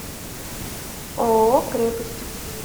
ооо крепость